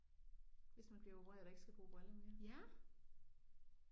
Hvis man bliver opereret og ikke skal bruge briller mere